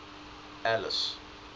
alice